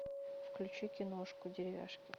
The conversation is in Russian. включи киношку деревяшки